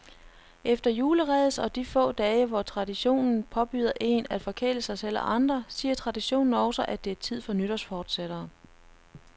Efter juleræset og de få dage, hvor traditionen påbyder én at forkæle sig selv og andre, siger traditionen også, at det er tid for nytårsforsætter.